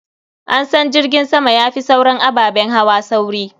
An san jirgin sama ya fi sauran ababen hawa sauri.